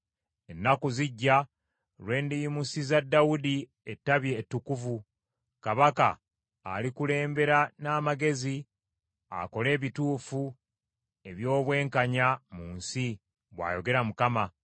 “Ennaku zijja, lwe ndiyimusiza Dawudi Ettabi ettukuvu, Kabaka alikulembera n’amagezi akole ebituufu eby’obwenkanya mu nsi,” bwayogera Mukama .